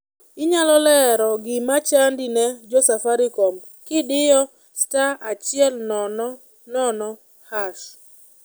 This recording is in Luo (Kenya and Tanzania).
inyalo lero gima chandi ne jo safsricom gidiyo star achiel nono nono hashh